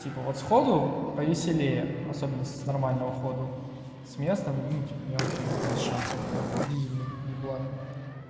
типа вот сходу повеселее особенно если с нормального ходу с места ну типа я вообще без шансов блять дизельный еблан